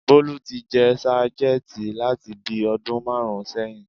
Bólú ti jẹ́ sájẹ̀ǹtì láti bíi ọdún márùn-ún sẹyìn